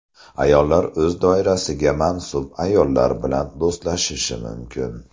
Ayollar o‘z doirasiga mansub ayollar bilan do‘stlashishi mumkin.